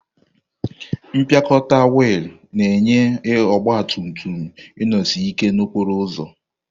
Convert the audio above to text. Mpịakọta wiil na-enye ọgba tum tum inosi ike n'okporo ụzọ.